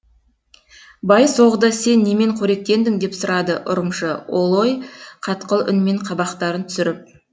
бай соғды сен немен коректендің деп сұрады ұрымшы олой қатқыл үнмен қабақтарын түсіріп